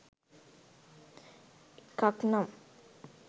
එකක් නම්